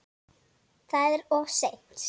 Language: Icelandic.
Það er of seint.